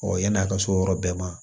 yann'a ka s'o yɔrɔ bɛɛ ma